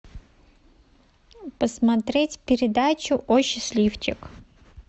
посмотреть передачу о счастливчик